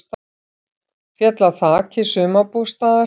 Féll af þaki sumarbústaðar